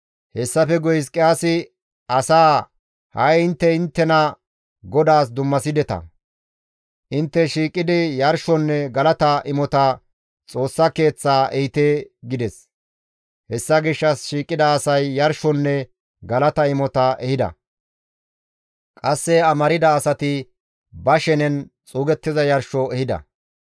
Hessafe guye Hizqiyaasi asaa, «Ha7i intte inttena GODAAS dummasideta; intte shiiqidi yarshonne galata imota Xoossa Keeththaa ehite» gides; hessa gishshas shiiqida asay yarshonne galata imota ehida; qasse amarda asati ba shenen xuugettiza yarsho ehida.